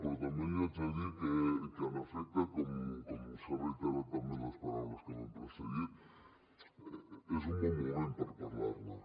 però també li haig de dir que en efecte com s’ha reiterat també en les paraules que m’han precedit és un bon moment per parlar ne